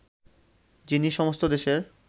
যিনি সমস্ত দেশের